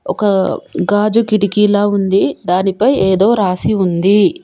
ఒక గాజు కిటికీ లాగుంది దాని పై ఏదో రాసి ఉంది.